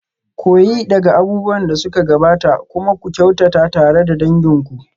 Koyi daga abubuwan da suka gabata kuma ku kyautata tare da dangin ku.